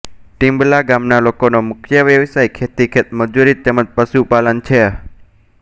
ટીમ્બલા ગામના લોકોનો મુખ્ય વ્યવસાય ખેતી ખેતમજૂરી તેમ જ પશુપાલન છે